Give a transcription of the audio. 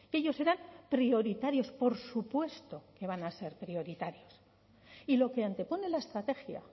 ellos serán prioritarios por supuesto que van a ser prioritarios y lo que antepone la estrategia